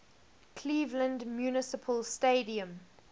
cleveland municipal stadium